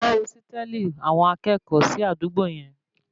Kọ́ ósítẹ̀lì àwọn akẹ́kọ̀ọ́ sí àdúgbò yẹn